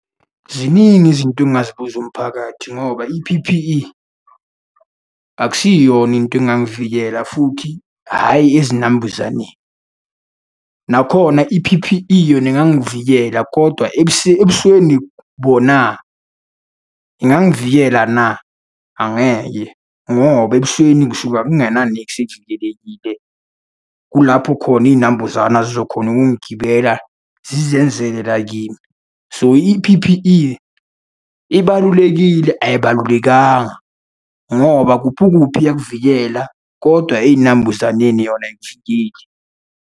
Ziningi izinto engingazibuza umphakathi ngoba i-P_P_E akusiyona into engangivikela futhi hhayi ezinambuzaneni. Nakhona i-P_P_E yona ingangivikela, kodwa ebusweni bona, ingangivikela na? Angeke, ngoba ebusweni ngisuka kungenaniksi evikelekile. Kulapho khona iy'nambuzana zizokhona ukungigibela zizenzele la kimi. So, i-P_P_E ibalulekile, ayibalulekanga, ngoba kuphi kuphi iyakuvikela, kodwa ey'nambuzaneni yona ayikuvikeli.